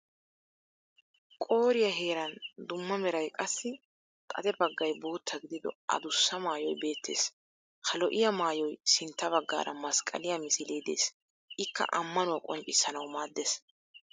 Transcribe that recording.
Qooriya heeran dumma meray qassi xade baggay bootta gidido addussa maayoy beettes. Ha lo'iya maayoy sintta baggaara masqqaliya misilee des ikka ammanuwa qonccissanawu maaddes